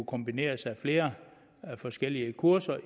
kombination af flere forskellige kurser